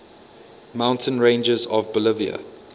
mountain ranges of bolivia